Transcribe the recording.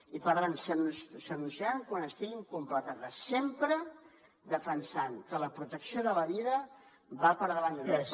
i per tant s’anunciaran quan estiguin completades sempre defensant que la protecció de la vida va per davant de tot